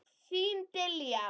Þín Diljá.